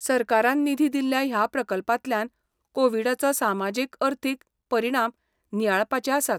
सरकारान निधी दिल्ल्या ह्या प्रकल्पांतल्यान कोविडाचो सामाजीक अर्थीक परिणाम नियाळपाचे आसात.